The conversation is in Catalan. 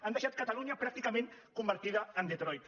han deixat catalunya pràcticament convertida en detroit